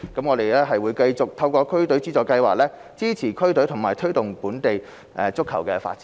我們會繼續透過區隊資助計劃，支持區隊和推動本地足球發展。